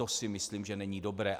To si myslím, že není dobré.